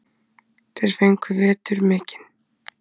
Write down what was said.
Þeir fengu vetur mikinn.